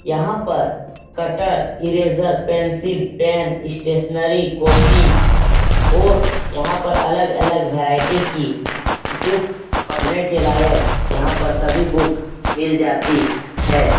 यहाँ पर cutter eraser pencil pen stationery copy ओर यहाँ पर अलग-अलग भेरायटी की बुक पढने के लायक है। यहाँ पर सभी बुक मिल जाती है।